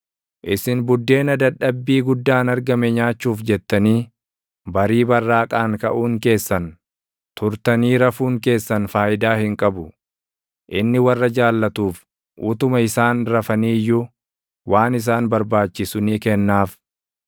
Isin buddeena dadhabbii guddaan argame nyaachuuf jettanii, barii barraaqaan kaʼuun keessan, turtanii rafuun keessan faayidaa hin qabu; inni warra jaallatuuf utuma isaan rafanii iyyuu // waan isaan barbaachisu ni kennaaf.